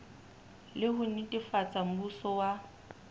le ho netefatsa mmuso wa